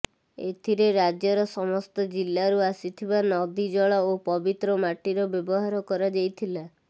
ଏଥିରେ ରାଜ୍ୟର ସମସ୍ତ ଜିଲ୍ଲାରୁ ଆସିଥିବା ନଦୀ ଜଳ ଓ ପବିତ୍ର ମାଟିର ବ୍ୟବହାର କରାଯାଇଥିଲା